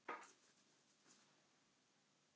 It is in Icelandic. Hver verður aðstoðarþjálfari?